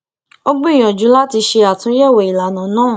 ó gbìyànjú láti ṣe àtúnyẹwò ìlànà náà